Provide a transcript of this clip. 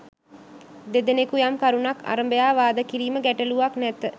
දෙදෙනෙකු යම් කරුණක් අරබයා වාද කිරීම ගැටළුවක් නැත